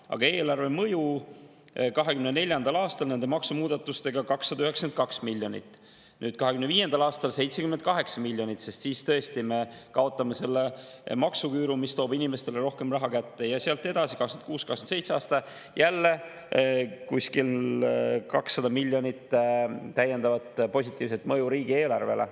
Aga mõju eelarvele 2024. aastal nende maksumuudatustega on 292 miljonit, 2025. aastal 78 miljonit, sest siis tõesti me kaotame selle maksuküüru ja see toob inimestele rohkem raha kätte, ja sealt edasi 2026. ja 2027. aastal jälle kuskil 200 miljonit, mis on täiendav positiivne mõju riigieelarvele.